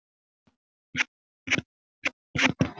Kannski hittust þau bara einu sinni og bjuggu mig til.